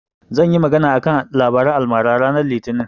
Zan yi magana a kan labaran almara ranar litinin.